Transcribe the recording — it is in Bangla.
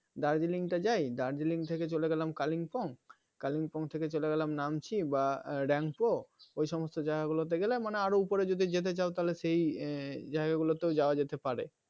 darjiling তা যাই Darjeeling থেকে চলে গেলাম kalingpong, Kalimpong থেকে চলে গেলাম Namchi বা rampo ওই সমস্ত জায়গা গুলোতে গেলে মানে আরো উপরে যদি যেতে চাও তাহলে সেই জায়গা গুলোতেও যাওয়া যেতে পারে